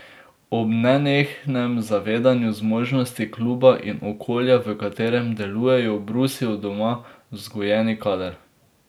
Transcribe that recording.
Ob nenehnem zavedanju zmožnosti kluba in okolja, v katerem delujejo, brusijo doma vzgojeni kader.